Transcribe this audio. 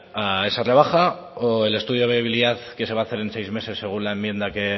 a esa rebaja o el estudio de viabilidad que se va a hacer el seis meses según la enmienda que